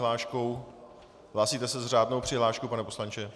Hlásíte se s řádnou přihláškou, pane poslanče?